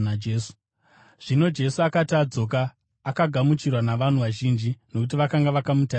Zvino Jesu akati adzoka, akagamuchirwa navanhu vazhinji, nokuti vakanga vakamutarisira.